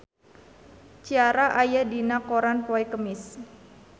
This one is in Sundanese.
Ciara aya dina koran poe Kemis